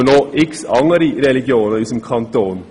Es gibt jedoch noch viele andere Religionen in unserem Kanton.